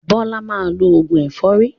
Bọ́lá máa lọ òògùn ẹ̀fọ́rí.